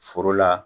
Foro la